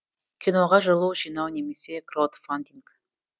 киноға жылу жинау немесе краудфандинг